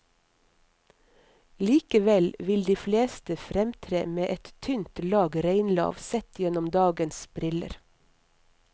Likevel vil de fleste fremtre med et tynt lag reinlav sett gjennom dagens briller.